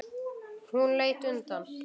Hún leit undan.